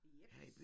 Jeps